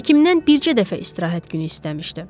Həkimdən bircə dəfə istirahət günü istəmişdi.